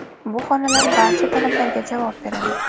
Bu xonalar barcha talablarga javob beradi.